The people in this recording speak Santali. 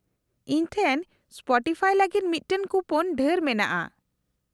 -ᱤᱧ ᱴᱷᱮᱱ ᱥᱯᱚᱴᱤᱯᱷᱟᱭ ᱞᱟᱹᱜᱤᱫ ᱢᱤᱫᱴᱟᱝ ᱠᱩᱯᱳᱱ ᱰᱷᱮᱨ ᱢᱮᱱᱟᱜᱼᱟ ᱾